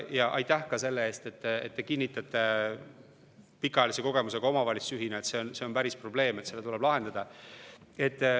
Ja aitäh ka selle eest, et te pikaajalise kogemusega omavalitsusjuhina kinnitate, et see on päris probleem ja et see tuleb lahendada.